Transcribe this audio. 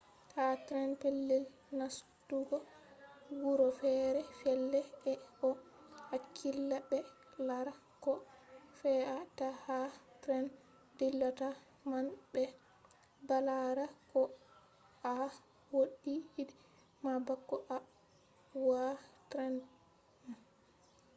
ha tren pellel nastugo wuro fere fere ɓe ɗo hakkila ɓe laara ko fe’a ta ha tren dillata man ɓe balara ko a wodi i.d ma bako a wa’a tren man